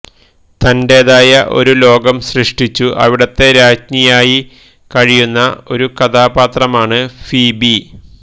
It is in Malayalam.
തന്റേതായ ഒരു ലോകം സൃഷ്ടിച്ചു അവിടുത്തെ രാജ്ഞിയായി കഴിയുന്ന ഒരു കഥാപാത്രമാണ് ഫീബി